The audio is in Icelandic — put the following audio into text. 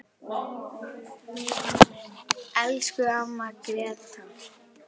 Elsku amma Gréta.